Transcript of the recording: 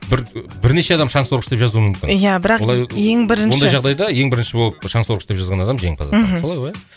бірнеше адам шаңсорғыш деп жазуы мүмкін иә бірақ ең бірінші ондай жағдайда ең бірінші болып шаңсорғыш деп жазған адам жеңімпаз атанады мхм солай ғой иә